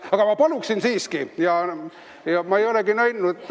Aga ma paluksin siiski!